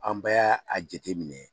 An bɛ y'a a jateminɛ